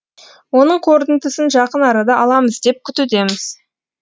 оның қорытындысын жақын арада аламыз деп күтудеміз